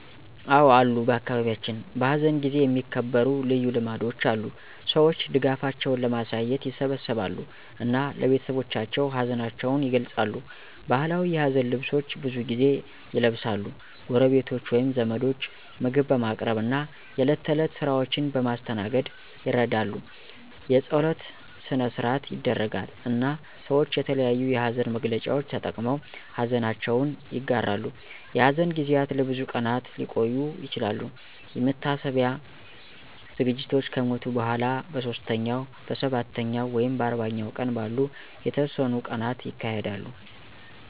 አዎ አሉ በአካባቢያችን፣ በሐዘን ጊዜ የሚከበሩ ልዩ ልማዶች አሉ። ሰዎች ድጋፋቸውን ለማሳየት ይሰበሰባሉ እና ለቤተሰቦቻቸው ሀዘናቸውን ይገልጻሉ። ባህላዊ የሀዘን ልብሶች ብዙ ጊዜ ይለብሳሉ፣ ጎረቤቶች ወይም ዘመዶች ምግብ በማቅረብ እና የእለት ተእለት ስራዎችን በማስተናገድ ይረዳሉ። የጸሎት ሰነ-ሰአት ይደረጋል፣ እና ሰወች የተለያዮ የሀዘን መግለጫዎች ተጠቅመው ሀዘነችውን ይጋራሉ። የሐዘን ጊዜያት ለብዙ ቀናት ሊቆዩ ይችላሉ፣ የመታሰቢያ ዝግጅቶች ከሞቱ በኋላ በሦስተኛው፣ በሰባተኛው ወይም በአርባኛው ቀን ባሉ የተወሰኑ ቀናት ይካሄዳሉ።